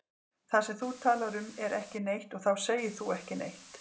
Það sem þú talar um er ekki neitt og þá segir þú ekki neitt.